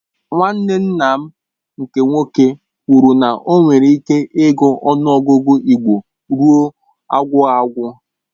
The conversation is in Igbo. Nwanne nna nke nwoke kwụrụ na o nwere ịke ịgụ ọnụ ọgụgụ igbo ruo agwụ agwụ.